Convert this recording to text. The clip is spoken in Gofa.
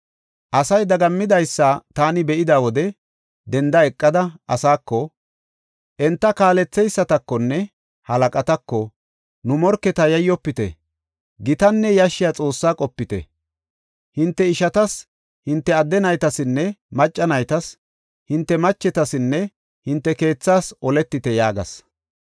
Asay daggamidaysa taani be7ida wode denda eqada, asaako, enta kaaletheysatakonne halaqatako, “Nu morketa yayyofite! Gitaanne yashshiya Xoossaa qopite. Hinte ishatas, hinte adde naytasinne macca naytas, hinte machetasinne hinte keethaas oletite” yaagas.